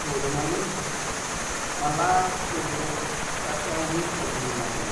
thuolo malach kendo kata wito ngima gi.